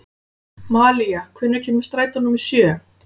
Malía, hvenær kemur strætó númer sjö?